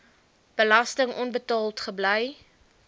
belasting onbetaald gebly